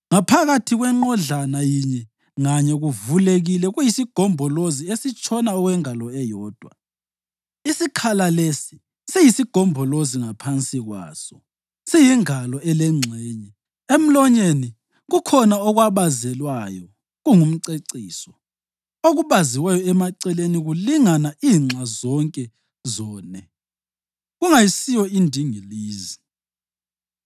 Ngaphakathi kwenqodlana yinye nganye kuvulekile kuyisigombolozi esitshona okwengalo eyodwa. Isikhala lesi siyisigombolozi ngaphansi kwaso siyingalo elengxenye. Emlonyeni kukhona okwabazelwayo kungumceciso. Okubaziweyo emaceleni kulingana inxa zonke zone, kungayisiyo indingilizi.